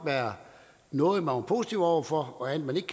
være noget man var positiv over for og andet man ikke